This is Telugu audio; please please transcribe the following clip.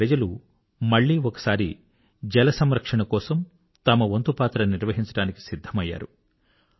అక్కడి ప్రజలు మళ్ళీ ఒకసారి జలసంరక్షణ కొరకు తమ వంతు పాత్ర నిర్వహించడానికి సిద్ధమైనారు